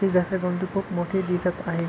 ती घसर गुंडी खूप मोठी दिसत आहे.